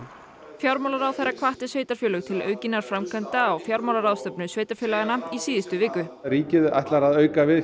fjármálaráðherra hvatti sveitarfélög til aukinna framkvæmda á fjármálaráðstefnu sveitarfélaganna í síðustu viku ríkið ætlar að auka við